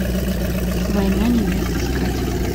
война невест искать